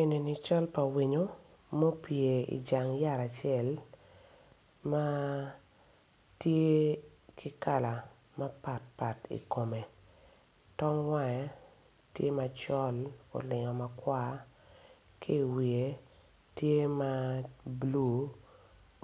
En ni cal pa winyo mupye I jsng yat acel ma tye ki kala mapat pat i kome tong wange tye macol olingo makwar ki iwiye tye ma bulu